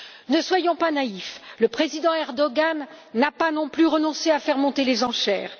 Ne soyons pas naïfs le président Erdoğan n'a pas non plus renoncé à faire monter les enchères.